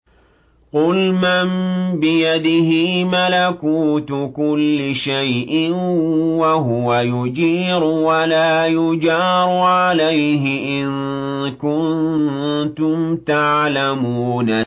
قُلْ مَن بِيَدِهِ مَلَكُوتُ كُلِّ شَيْءٍ وَهُوَ يُجِيرُ وَلَا يُجَارُ عَلَيْهِ إِن كُنتُمْ تَعْلَمُونَ